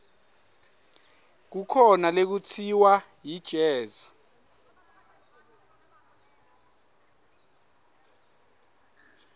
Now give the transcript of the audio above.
kukhona lekutsiwa yijezi